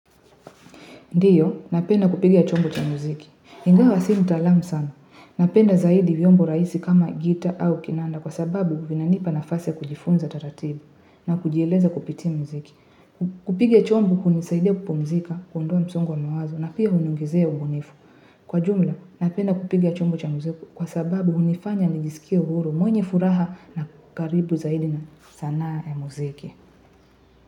Ndiyo, napenda kupigia chombo cha muziki. Hingawa si mtalamu sana. Napenda zaidi vyombo raisi kama gita au kinanda kwa sababu vinanipa nafasi kujifunza taratibu na kujieleza kupitia muziki. Kupiga chombo kunisaidia kupumzika, kuondoa msongo wa mawazo na pia huniongezea ubunifu. Kwa jumla, napenda kupiga chombo cha muziki kwa sababu unifanya nijisikia uhuru mwenye furaha na karibu zaidi na sanaa ya muziki.